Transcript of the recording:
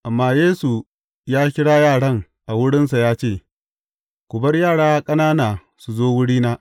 Amma Yesu ya kira yaran a wurinsa ya ce, Ku bar yara ƙanana su zo wurina.